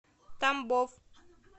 тамбов